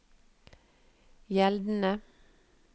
gjeldende